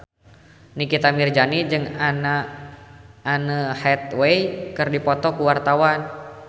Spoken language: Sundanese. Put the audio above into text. Nikita Mirzani jeung Anne Hathaway keur dipoto ku wartawan